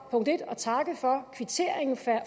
at takke for kvitteringen